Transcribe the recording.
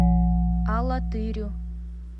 алатырю